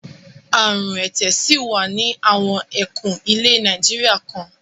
Àrùn ẹ̀tẹ̀ ṣì wà ní àwọn ẹkùn ilẹ̀ Nàìjíríà kan.